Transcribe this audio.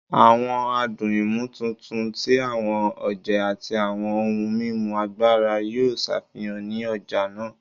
Awọn adun imotuntun ti awọn oje ati awọn ohun mimu agbara yoo ṣafihan ni ọja naa